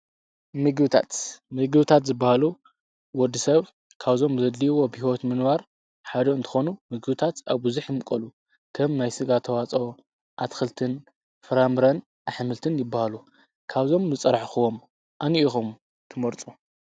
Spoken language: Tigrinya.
ምግብታት፡- መግብታት ዝበሃሉ ወዲ ሰብ ካብዞም ዘለዎም ብሕይወት ንምንባር ሓደ እንተኾኑ ምግብታት ኣብ ብዙሕ ይምቀሉ፡፡ ከም ናይስጋ ተዋፀኦ፣ ኣትክልትን ፍራምረን፣ ኣሕምልትን ይበሃሉ፡፡ ካብዞም ዝፀራሕኽዎም አንታይ ኢኹም ትመርፁ?